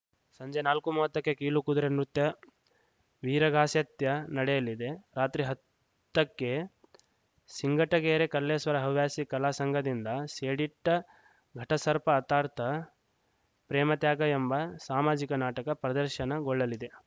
ಸಂಜೆ ನಾಲ್ಕು ಮೂವತ್ತಕ್ಕೆಕೀಲು ಕುದುರೆ ನೃತ್ಯ ವೀರಗಾಸೆ ತ್ಯ ನಡೆಯಲಿದೆ ರಾತ್ರಿ ಹತ್ತಕ್ಕೆ ಸಿಂಗಟಗೆರೆ ಕಲ್ಲೇಶ್ವರ ಹವ್ಯಾಸಿ ಕಲಾಸಂಘದಿಂದ ಸೇಡಿಟ್ಟಘಟಸರ್ಪ ಅಥಾರ್ತ್ ಪ್ರೇಮತ್ಯಾಗ ಎಂಬ ಸಾಮಾಜಿಕ ನಾಟಕ ಪ್ರದರ್ಶನಗೊಳ್ಳಲಿದೆ